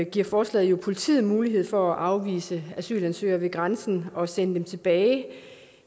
giver forslaget politiet mulighed for at afvise asylansøgere ved grænsen og sende dem tilbage